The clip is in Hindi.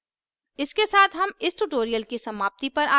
इसके साथ हम इस tutorial की समाप्ति पर आ गये हैं